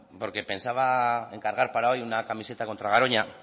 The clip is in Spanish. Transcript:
porque pensaba encargar para hoy una camiseta contra garoña